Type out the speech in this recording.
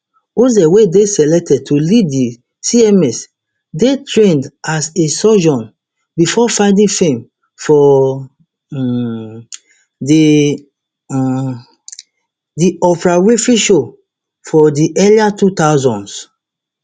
oz wey dey selected to lead di cms dey trained as a surgeon bifor finding fame for um di um di oprah winfrey show for di early two thousands